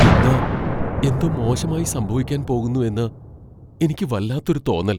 ഇന്ന് എന്തോ മോശമായി സംഭവിക്കാൻ പോകുന്നു എന്ന് എനിക്ക് വല്ലാത്തൊരു തോന്നൽ.